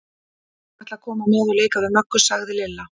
Ég ætla að koma með og leika við Möggu, sagði Lilla.